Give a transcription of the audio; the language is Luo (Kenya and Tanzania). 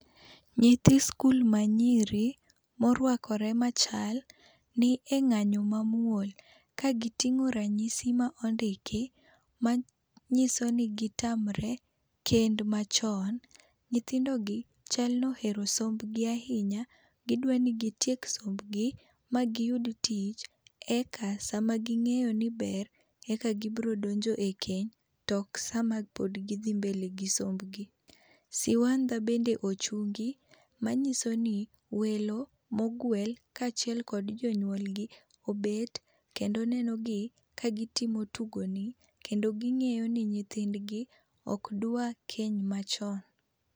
Nyithi skul ma nyiri morwakore machal ni e ng'anyo mamuol ka giting'o ranyisi ma ndiki ma nyiso ni gitamore kend ma chon. Nyithindo gi chalno ohero sombgi ahinya. Gidwa ni gitiek sombgi ma giyud tich eka sama ging'eyo ni ber eka biro donjo e keny to ok sama pod gi dhi mbele gi sombgi. Siwanda bende ochungi manyiso ni welo moguel kachiel kod jonyuolgi obet kendo neno gi kagi timo tugoni kendo ging'eyo ni nyithindgi ok dwar keny machon.